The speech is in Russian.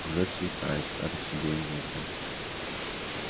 уже светает кажется будем вовремя